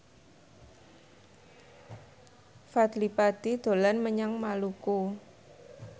Fadly Padi dolan menyang Maluku